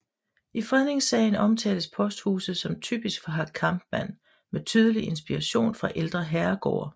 I fredningssagen omtales posthuset som typisk for Hack Kampmann med tydelig inspiration fra ældre herregårde